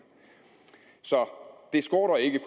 så det skorter ikke